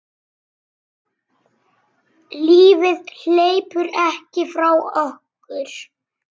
Lífið hleypur ekki frá okkur.